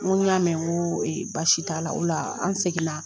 N ko n y'a mɛn ko e basi t'a la o la an seginna